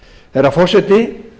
herra forseti